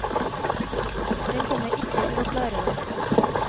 Jeg kommer ikke til å klare det.